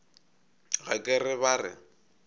ga ke re ba re